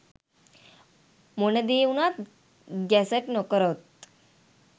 මොන දේ වුනත් ගැසට් නොකරොත්